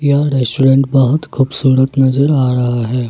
यह रेस्टोरेंट बहुत खूबसूरत नजर आ रहा है।